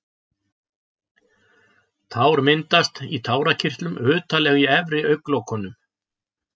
Tár myndast í tárakirtlum utarlega í efri augnlokunum.